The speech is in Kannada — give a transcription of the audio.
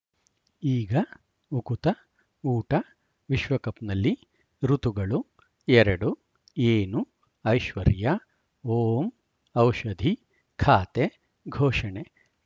ಈಗ ಉಕುತ ಊಟ ವಿಶ್ವಕಪ್‌ನಲ್ಲಿ ಋತುಗಳು ಎರಡು ಏನು ಐಶ್ವರ್ಯಾ ಓಂ ಔಷಧಿ ಖಾತೆ ಘೋಷಣೆ